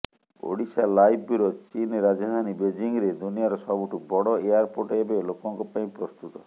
Odisha live bureau ଚୀନ ରାଜଧାନୀ ବେଜିଂରେ ଦୁନିଆର ସବୁଠୁ ବଡ଼ ଏୟାରପୋର୍ଟ ଏବେ ଲୋକଙ୍କ ପାଇଁ ପ୍ରସ୍ତୁତ